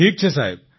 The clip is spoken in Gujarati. ઠીક છે સાહેબ